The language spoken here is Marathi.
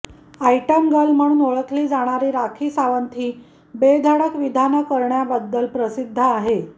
आयटम गर्ल म्हणून ओळखली जाणारी राखी सावंत ही बेधडक विधानं करण्याबद्दल प्रसिद्ध आहे